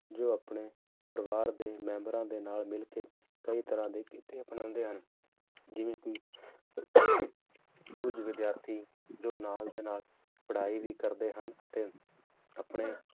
ਜੋ ਆਪਣੇ ਪਰਿਵਾਰ ਦੇ ਮੈਂਬਰਾਂ ਦੇ ਨਾਲ ਮਿਲ ਕੇ ਕਈ ਤਰ੍ਹਾਂ ਦੇ ਕਿੱਤੇ ਅਪਣਾਉਂਦੇ ਹਨ, ਜਿਵੇਂ ਕਿ ਕੁੱਝ ਵਿਦਿਆਰਥੀ ਜੋ ਨਾਲ ਦੇ ਨਾਲ ਪੜ੍ਹਾਈ ਵੀ ਕਰਦੇ ਹਨ ਅਤੇ ਆਪਣੇ